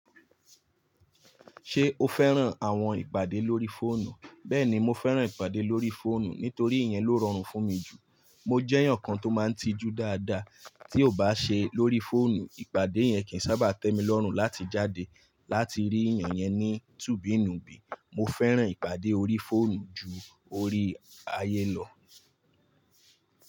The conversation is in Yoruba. Ṣé o fẹ́ràn àwọn ìpàdé lórí fóònù? Bẹ́ẹ̀ni, mo fẹ́ràn ìpàdé lórí fóònù nítorí ìyẹn ló rọrùn fún mi jù. Mo jẹ́ èèyàn kan tó máa ń tijú dáadáa, tí ò bá ṣe lórí fóònù, ìpàdé yẹn kì í sábà tẹ́mi lọ́rùn láti jáde láti rí èèyàn yẹn ní tùbí nùbìí. Mo fẹ́ràn ìpàdé orí fóònù ju orí ayé lọ.